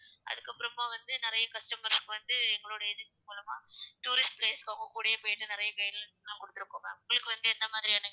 அதுக்கப்புறமா வந்து நெறைய customers க்கு வந்து எங்களுடைய agency மூலமா tourist place அவங்க கூடயே போயிட்டு நெறைய guidelines எல்லாம் குடுத்துருக்கோம் ma'am உங்களுக்கு வந்து என்ன மாதிரியான,